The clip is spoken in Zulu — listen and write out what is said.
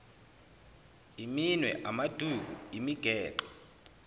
iminwe amaduku imigexo